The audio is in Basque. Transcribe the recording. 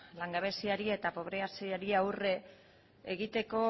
langabeziari eta pobreziari aurre egiteko